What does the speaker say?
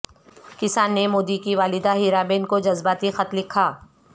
کسان نے مودی کی والدہ ہیرابین کو جذباتی خط لکھا